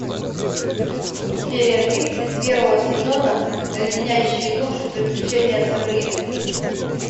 серия тридцать первого сезона леденящие душу приключения сабрины